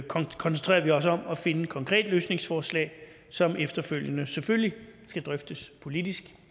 koncentrerer vi os om at finde et konkret løsningsforslag som efterfølgende selvfølgelig skal drøftes politisk